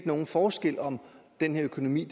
nogen forskel om den her økonomi